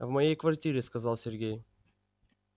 в моей квартире сказал сергей